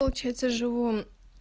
получается живу